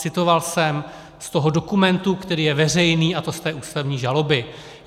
Citoval jsem z toho dokumentu, který je veřejný, a to z té ústavní žaloby.